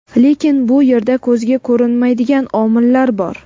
lekin bu yerda ko‘zga ko‘rinmaydigan omillar bor.